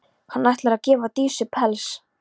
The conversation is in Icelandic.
Hann ætlar að gefa Dísu pels.